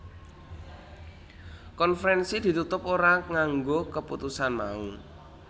Konferensi ditutup ora nganggo kaputusan mau